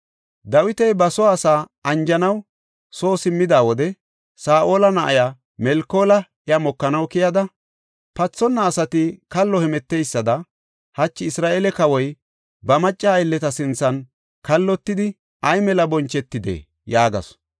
Dawiti ba soo asaa anjanaw soo simmida wode Saa7ola na7iya Melkoola iya mokanaw keyada, “Pathonna asati kallo hemeteysada hachi Isra7eele kawoy ba macca aylleta sinthan kallotidi ay mela bonchetide!” yaagasu.